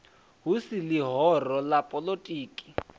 hu si ḽihoro ḽa poḽotiki